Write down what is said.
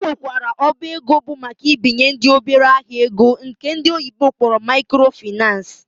Ọ nwekwara ọba ego bụ maka ibinyendị obere ahịa ego nke ndi oyibo kpọrọ microfinace